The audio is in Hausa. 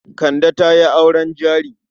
Kande ta yi auren jari.